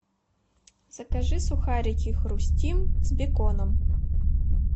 закажи сухарики хрустим с беконом